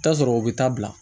I bi t'a sɔrɔ u bɛ taa bila